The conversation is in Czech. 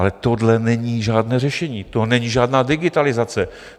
Ale tohle není žádné řešení, to není žádná digitalizace.